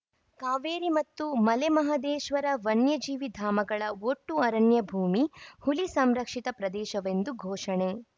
ಕಾವೇರಿ ಮತ್ತು ಮಲೆಮಹದೇಶ್ವರ ವನ್ಯಜೀವಿ ಧಾಮಗಳ ಒಟ್ಟು ಅರಣ್ಯ ಭೂಮಿ ಹುಲಿ ಸಂರಕ್ಷಿತ ಪ್ರದೇಶವೆಂದು ಘೋಷಣೆ